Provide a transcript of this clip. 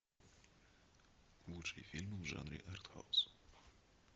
лучшие фильмы в жанре артхаус